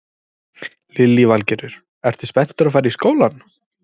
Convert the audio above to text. Lillý Valgerður: Ertu spenntur að fara í skólann?